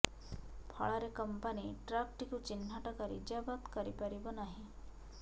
ଫଳରେ କମ୍ପାନି ଟ୍ରକଟିକୁ ଚିହ୍ନଟ କରି ଜବତ କରିପାରିବ ନାହିଁ